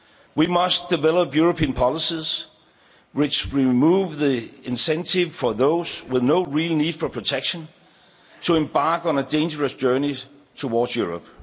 We must develop European policies which remove the incentive for those with no real need for protection to embark on a dangerous journey towards Europe.